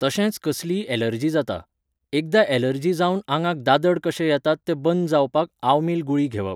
तशेंच कसलीय एलर्जी जाता. एकदां एलर्जी जावन आंगाक दादड कशे येतात ते बंद जावपाक आवमील गुळी घेवप